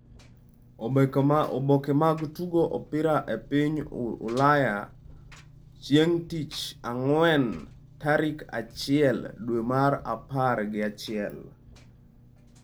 Oboke mag Tugo mar Opira e piny Ulaya chieng’ tich ang’wen tarik achiel dwe mar apar gi achiel.